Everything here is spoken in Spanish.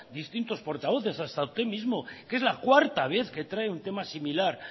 distintos portavoces hasta usted mismo que es la cuarta vez que trae un tema similar